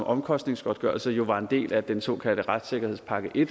omkostningsgodtgørelser jo var en del af den såkaldte retssikkerhedspakke i